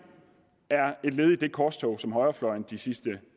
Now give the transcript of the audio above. er et led i det korstog som højrefløjen de sidste